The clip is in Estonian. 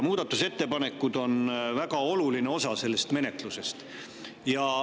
Muudatusettepanekud on väga oluline osa menetlusest.